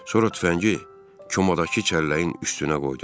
Sonra tüfəngi komadakı kəlləyin üstünə qoydum.